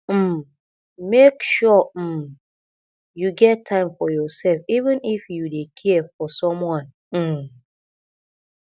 um make sure um you get time for yoursef even if you dey care for someone um